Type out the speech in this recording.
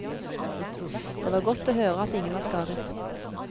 Det var godt å høre at ingen var skadet.